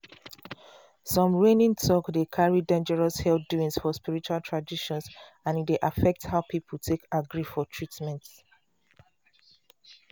some reigning talk dey carry dangerous health doings for spiritual traditions and e dey affect how people take agree for treatment.